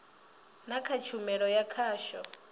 na kha tshumelo ya khasho